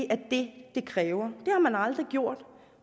er det det kræver har man aldrig gjort